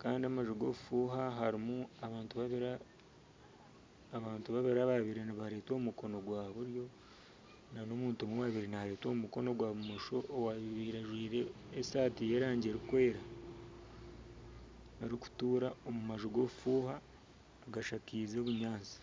kandi amanju g'obufuuha harimu abantu babiri ababaire nibaretwa omukono gwa buryo n'omuntu omwe orikuretwa omukono gwa bumosho owabaire ajwaire esaati y'erangi erikwera arikutura omu manju g'obufuuha agashakize obunyaatsi.